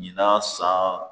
Ɲinan san